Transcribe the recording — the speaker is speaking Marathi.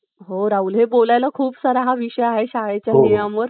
तर जिमखान्यामध्ये carrom खेळात बसायचो